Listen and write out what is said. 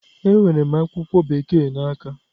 Enwere m akwụkwọ Bekee m n'aka.